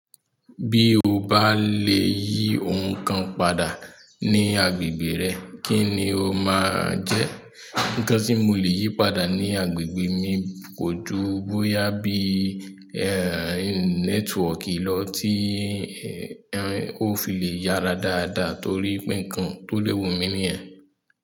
Bí o bá lè yí ọ̀un kan padà ní agbègbè rẹ, kí ni o máa jẹ́? Níkan tí mo lè yí padà ní agbègbè mi kò ju bóyá bí network ló ti ò fi lè yára dáadáa torípe nǹkan tó lẹ́wù mí níyẹn.